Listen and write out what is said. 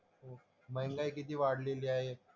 महंगाई किती वाढलेली आहे.